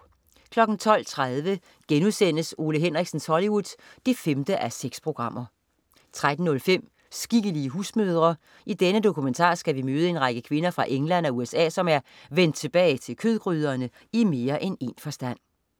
12.30 Ole Henriksens Hollywood 5:6* 13.05 Skikkelige husmødre. I denne dokumentar skal vi møde en række kvinder fra England og USA, som er "vendt tilbage til kødgryderne" i mere end én forstand